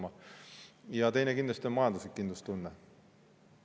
Ja teine on kindlasti majanduslik kindlustunne.